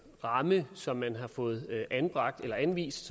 ramme som man har fået anvist